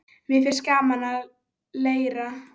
Mér finnst gaman að leira.